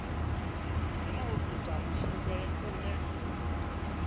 hana u ita mushumo une